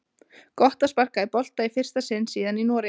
Gott að sparka í bolta í fyrsta sinn síðan í Noregi!